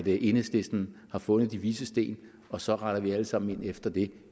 enhedslisten har fundet de vises sten og så retter vi alle sammen ind efter det